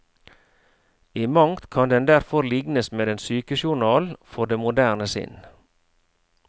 I mangt kan den derfor lignes med en sykejournal for det moderne sinn.